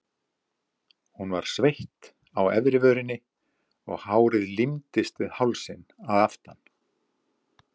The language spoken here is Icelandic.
Hún var sveitt á efri vörinni og hárið límdist við hálsinn að aftan.